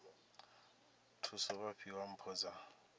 thusa vha fhiwa mpho dza